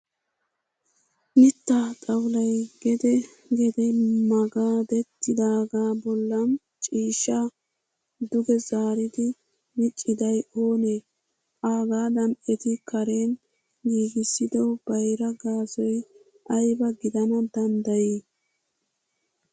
Mittaa xawulayi gede gede magadetiidaaga bollan ciishshaa duge zaaridi miccidayi oonee? #agaadan eti karen giigissido bayira gaasoyi ayba gidana danddayii?